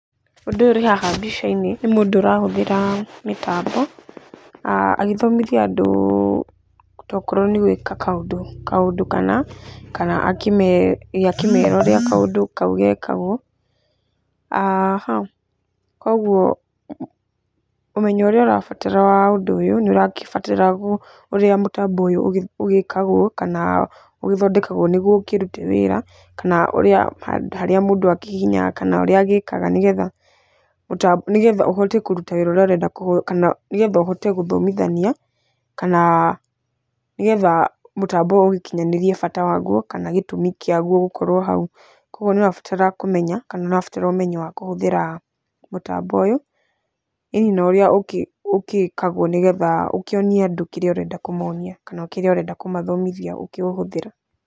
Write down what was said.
Mũndũ ũrĩ haha mbica-inĩ nĩ mũndũ ũrahũthĩra mĩtambo agĩthomithia andũ tokorwo nĩ gwĩka kaũndũ kana kana akĩmera ũrĩa kaũndũ kau gekagwo. Koguo ũmenyo ũrĩa ũrabatara wa gwĩka ũndũ ũyũ, nĩ ũragĩbatara ũrĩa mũtambo ũyũ ũgĩkagwo kana ũgĩthondekagwo nĩguo ũkĩrute wĩra. Kana harĩa mũndũ a kĩhihinyaga kana nĩ getha ũhote kũruta wĩra ũrĩa ũrenda kana nĩ getha ũhote gũthomithania kana nĩ getha mũtambo ũyũ ũgĩkinyanĩrie bata waguo kana gĩtũmi kĩaguo gũkorwo hau. Koguo nĩ ũrabatara kũmenya kana nĩ ũrabatara ũmenyo wa kũhũthĩra mũtambo ũyũ. ĩĩni na ũrĩa ũgĩkagwo nĩ getha ũkĩonie andũ kĩrĩa ũrenda kũmonia kana kĩrĩa ũrenda kumathomithia ũkĩũhũthĩra.